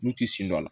N'u ti sen don a la